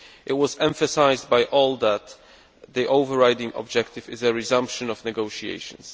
It was emphasised by all that the over riding objective is the resumption of negotiations.